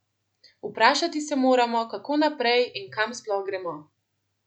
Vprašati se moramo, kako naprej in kam sploh gremo?